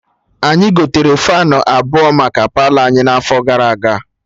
Anyị gotere Faanụ abụọ maka Palọ anyị n'afọ gara aga